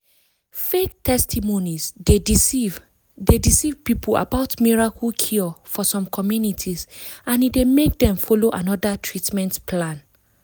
fake testimonies dey deceive dey deceive people about miracle cure for some communities and e dey make dem follow another treatment plan.